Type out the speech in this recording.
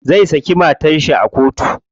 Zai saki matar shi a kotu.